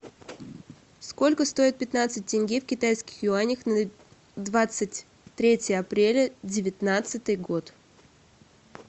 сколько стоит пятнадцать тенге в китайских юанях на двадцать третье апреля девятнадцатый год